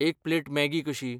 एक plate Maggi कशी?